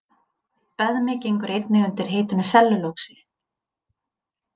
Beðmi gengur einnig undir heitinu sellulósi.